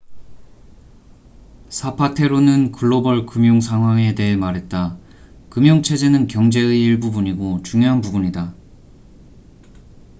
"사파테로는 글로벌 금융 상황에 대해 말했다. "금융 체제는 경제의 일부분이고 중요한 부분이다.